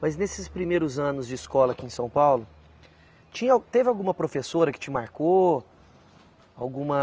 Mas nesses primeiros anos de escola aqui em São Paulo, tinha, teve alguma professora que te marcou? Alguma